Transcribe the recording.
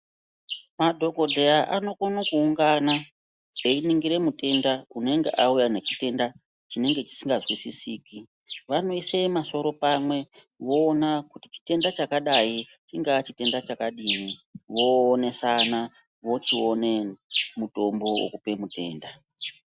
Madhokodheya anokone ku ungana vei ningira mutenda unenga auya ne chitenda chinenge chisika nzwisisiki vanoise masoro pamwe voona kuti chitenda chakadai chinga chitenda chakadini vo onesana vochi one mutombo wekupe mutenda.